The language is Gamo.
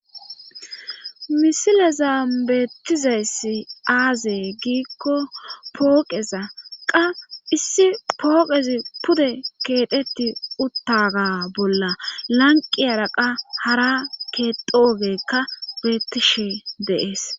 misile zaambeettizayssi aazey giikko pooqeza qa issi pooqezi pude keedheti uttaga bolla lanqi yaraqa hara keedoogekka beettishe deees